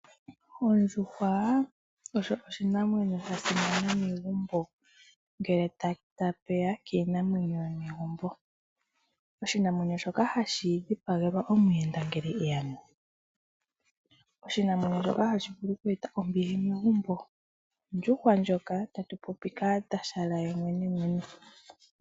Ondjuhwa osho oshinamwenyo sha simana megumbo ngele tashi ya kiinamwenyo yomegumbo. Oshinamwenyo shoka hashi dhipagelwa omuyenda ngele eya mo. Oshinamwenyo shoka hashi eta ombili megumbo. Ondjuhwa ndjoka tatu popi kaatashala yemwenemwene.